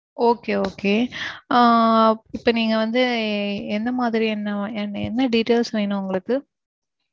Okay okay அஹ் இப்போ நீங்க வந்து எந்த மாதிரியான என்ன என்ன details வேணும் உங்களுக்கு?